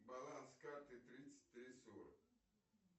баланс карты тридцать три сорок